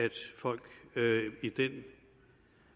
folk i den